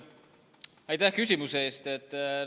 Aitäh küsimuse eest!